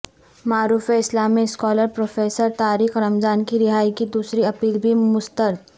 معروف اسلامی scholar professor Tariq Ramadan کی رہائی کی دوسری اپیل بھی مسترد